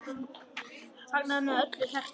Fagnaði með af öllu hjarta.